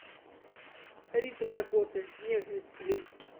рита дакота нежность клип